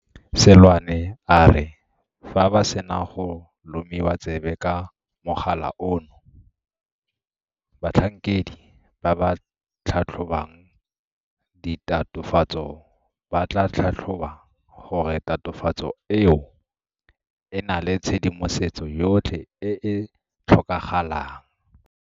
Seloane a re fa ba sena go lomiwa tsebe ka mogala ono, batlhankedi ba ba tlhatlhobang ditatofatso ba tla tlhatlhoba gore tatofatso eo e na le tshedimosetso yotlhe e e tlhokagalang.